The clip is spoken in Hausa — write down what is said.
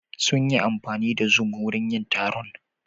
Sun yi amfani da zoom wurin yin taron.